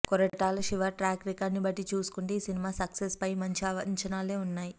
Koratala Siva track record బట్టి చూసుకుంటే ఈ సినిమా సక్సెస్ పై మంచి అంచనాలే ఉన్నాయి